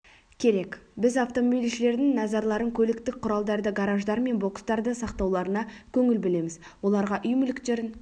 керек біз автомобильшілердің назарларын көліктік құралдарды гараждар мен бокстарда сақтауларына көңіл бөлеміз оларға үй мүліктерін